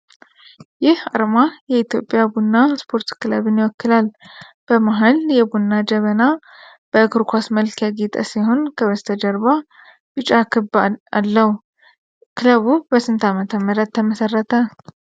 ይህ አርማ የኢትዮጵያ ቡና ስፖርት ክለብን ይወክላል። በመሃል የቡና ጀበና በእግር ኳስ መልክ ያጌጠ ሲሆን፣ ከበስተጀርባ ቢጫ ክብ አለው። ክለቡ በስንት ዓ.ም ተመሠረተ?